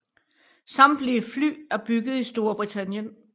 Samtlige fly er bygget i Storbritannien